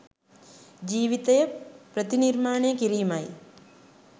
ජීවිතය ප්‍රතිනිර්මාණය කිරීමයි